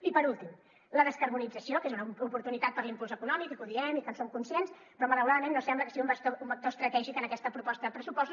i per últim la descarbonització que és una oportunitat per a l’impuls econòmic i que ho diem i que en som conscients però malauradament no sembla que sigui un vector estratègic en aquesta proposta de pressupostos